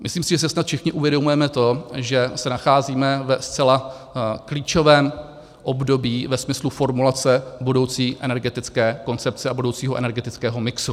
Myslím si, že si snad všichni uvědomujeme to, že se nacházíme ve zcela klíčovém období ve smyslu formulace budoucí energetické koncepce a budoucího energetického mixu.